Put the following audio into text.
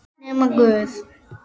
Nema guð.